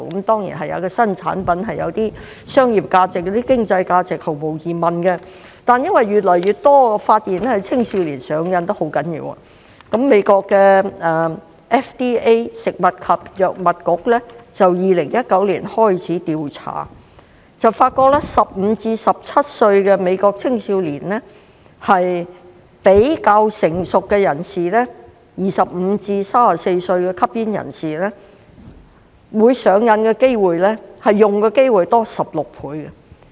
當然，新產品毫無疑問有些商業價值、經濟價值，但因為發現越來越多青少年嚴重上癮，美國的食品及藥物管理局在2019年開始調查，發覺15歲至17歲的美國青少年比較成熟的25歲至34歲的吸煙人士會上癮的機會高16倍。